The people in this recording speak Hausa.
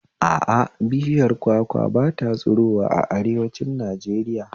A a, bishiyar kwakwa ba ta tsirowa a arewanci Najeriya